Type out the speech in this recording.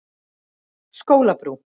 Skólabrú